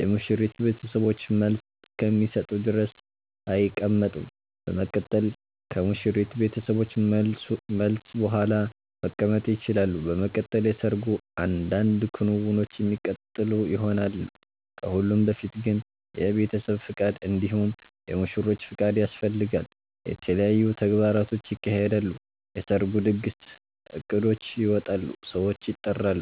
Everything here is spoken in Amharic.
የሙሽሪት ቤተሰቦችን መልስ እስከሚሰጡ ድረስ አይቀመጡም በመቀጠል ከሙሽሪት ቤተሰቦች መልስ ቡሃላ መቀመጥ ይቸላሉ። በመቀጠል የሰርጉ አንዳንድ ክንዉኖች የሚቀጥሉ ይሆናል። ከሁሉም በፊት ግን የቤተሰብ ፍቃድ እንዲሁም የሙሽሮቹ ፍቃድ ያስፈልጋል። የተለያዩ ተግባራቶች ይካሄዳሉ የሰርጉ ድግስ እቅዶች ይወጣሉ ሰዎች ይጠራሉ